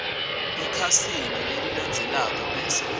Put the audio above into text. ekhasini lelilandzelako bese